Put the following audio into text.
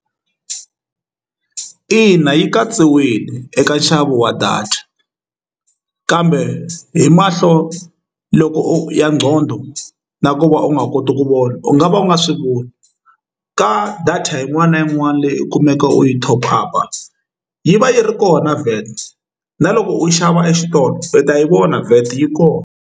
Ina yi katsiwile eka nxavo wa data kambe hi mahlo loko ya nqondo na ku va u nga koti ku vona u nga va u nga swi voni ka data yin'wana na yin'wana leyi u kumeka u yi top up yi va yi ri kona VAT na loko u xava exitolo u ta yi vona VAT yi kona.